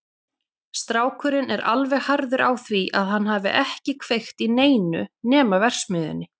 Strákurinn er alveg harður á því að hann hafi ekki kveikt í neinu nema verksmiðjunni.